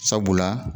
Sabula